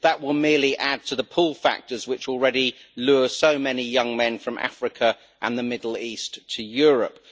That will merely add to the pull factors which already lure so many young men from Africa and the Middle East to Europe.